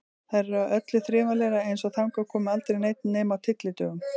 Þar er öllu þrifalegra, eins og þangað komi aldrei neinn nema á tyllidögum.